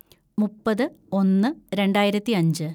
മുപ്പത് ഒന്ന് രണ്ടായിരത്തിയഞ്ച്‌